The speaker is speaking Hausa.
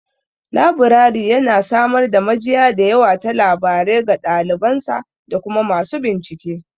Labirari yana samar da majiya da yawa ta labarai ga ɗaliban sa da kuma masu bincike.